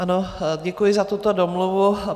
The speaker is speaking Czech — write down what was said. Ano, děkuji za tuto domluvu.